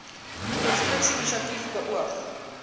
konstruksie inisiatief beoog